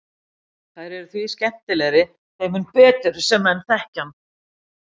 Þær eru því skemmtilegri þeim mun betur sem menn þekkja hann.